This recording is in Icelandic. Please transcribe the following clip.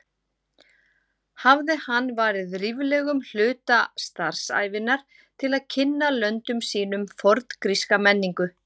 Hafði hann varið ríflegum hluta starfsævinnar til að kynna löndum sínum forngríska menningu.